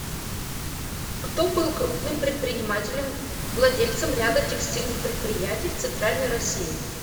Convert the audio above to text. кто был крупным предпринимателем владельцем ряда текстильных предприятий в центральной россии